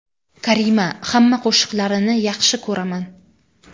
Karima :– Hamma qo‘shiqlarini yaxshi ko‘raman!